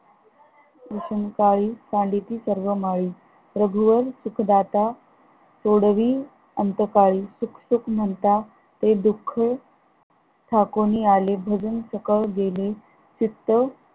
भीषण काळी मांडती सर्व माळी रघुवर सुख दाता सोडवी अंत काळी, सुख सुख म्हणता हे दुःख ठाकूनि आले भजन सकळ गेले तिथं